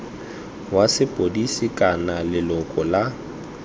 wa sepodisi kana leloko la